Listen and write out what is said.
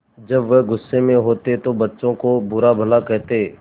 जब वह गुस्से में होते तो बच्चों को बुरा भला कहते